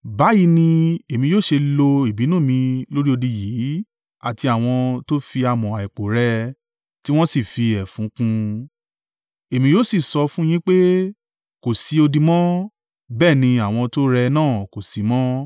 Báyìí ni Èmi yóò ṣe lo ìbínú mi lórí odi yìí àti àwọn to fi amọ̀ àìpò rẹ́ ẹ, tí wọ́n sì fi ẹfun kùn ún. Èmi yóò sì sọ fún yín pé, “Kò sí odi mọ́, bẹ́ẹ̀ ni àwọn tó rẹ́ ẹ náà kò sí mọ́.